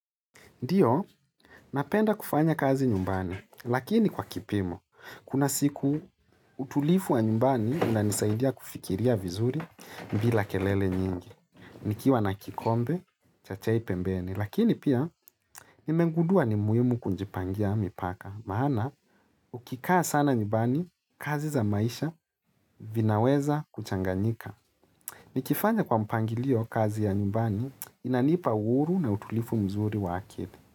Ndio, napenda kufanya kazi nyumbani, lakini kwa kipimo, kuna siku utulivu wa nyumbani unanisaidia kufikiria vizuri bila kelele nyingi. Nikiwa na kikombe, cha chai pembeni lakini pia nimegundua ni muhimu kunjipangia mipaka, maana ukikaa sana nyumbani, kazi za maisha vinaweza kuchanganyika. Nikifanya kwa mpangilio kazi ya nyumbani, inanipa uhuru na utulivu mzuri wa akili.